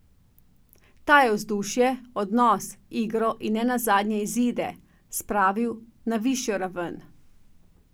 Ta je vzdušje, odnos, igro in ne nazadnje izide spravil na višjo raven.